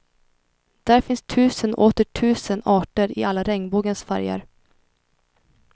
Där finns tusen och åter tusen arter i alla regnbågens färger.